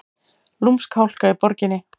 Lúmsk hálka í borginni